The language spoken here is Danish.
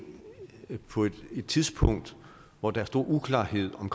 på et tidspunkt hvor der er stor uklarhed om